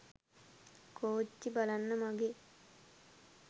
කෝච්චි බලන්න මගේ